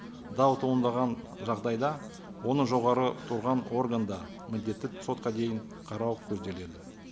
дау туындаған жағдайда оны жоғары тұрған органда міндетті сотқа дейін қарау көзделеді